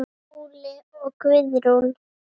Skúli og Guðrún.